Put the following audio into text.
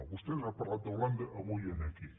vostès han parlat d’holanda avui aquí